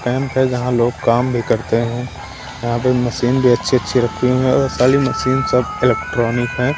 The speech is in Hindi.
कैम्प है जहां लोग काम भी करते हैं यहां पे मशीन भी अच्छी-अच्छी रखी हुई है और सारी मशीन सब इलेक्ट्रॉनिक है।